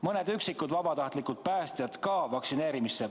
Mõned vabatahtlikud päästjad tuleks samuti vaktsineerida.